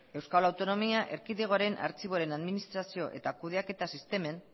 euskal autonomia erkidegoaren artxiboaren administrazio eta kudeaketa sistemen